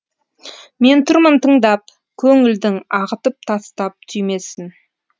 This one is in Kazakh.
мен тұрмын тыңдап көңілдің ағытып тастап түймесін